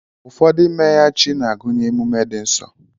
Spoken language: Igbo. ụfọdụ imeya chi n'agụnye emume di nsọ.